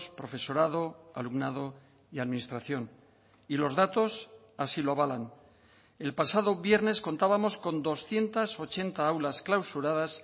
profesorado alumnado y administración y los datos así lo avalan el pasado viernes contábamos con doscientos ochenta aulas clausuradas